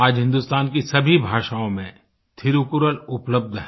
आज हिन्दुस्तान की सभी भाषाओं में थिरुकुरल उपलब्ध है